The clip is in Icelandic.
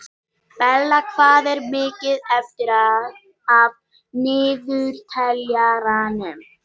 Bella, hvað er mikið eftir af niðurteljaranum?